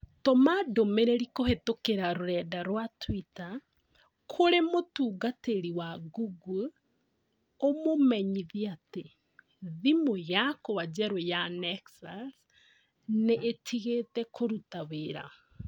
Tũma ndũmĩrĩri kũhĩtũkĩra rũrenda rũa tũita kũrĩ mũtungatĩri wa Google ũmumenyithie ati thimũ yakwa njerũ ya nexus nĩ ĩtigĩte kũruta wĩra.